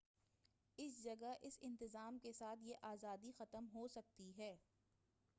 اس جگہ اس انتظام کے ساتھ یہ آزادی ختم ہوسکتی ہے